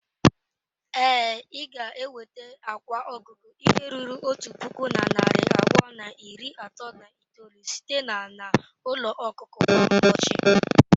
Ee, ị ga-enweta akwa ọkụkọ ihe ruru otu puku na narị abụọ na iri atọ na itoolu site na n'ụlọ ọkụkọ kwa ụbọchị.